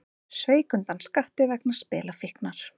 Sveik undan skatti vegna spilafíknar